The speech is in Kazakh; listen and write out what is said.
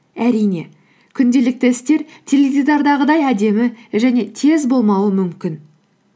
әрине күнделікті істер теледидардағыдай әдемі және тез болмауы мүмкін